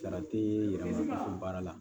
Sara tɛ yɛlɛma fo baara la